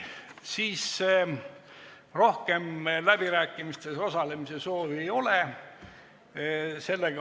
Rohkem läbirääkimistel osalemise soovi ei ole.